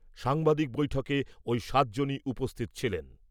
সাংবাদিক বৈঠকে ওই সাত জনই উপস্থিত ছিলেন।